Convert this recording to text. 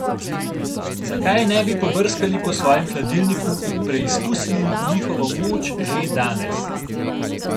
Zakaj ne bi pobrskali po svojem hladilniku in preizkusili njihovo moč že danes?